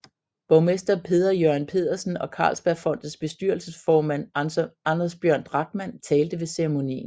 Borgmester Peder Jørgen Pedersen og Carlsbergfondets bestyrelsesformand Anders Bjørn Drachmann talte ved ceremonien